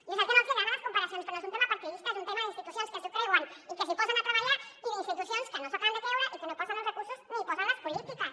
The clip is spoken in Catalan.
jo sé que no els agraden les comparacions però no és un tema partidista és un tema d’institucions que s’ho creuen i que s’hi posen a treballar i d’institucions que no s’ho acaben de creure i que no hi posen els recursos ni hi posen les polítiques